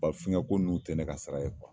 Bafin ka ko ninnu tɛ ne ka sira ye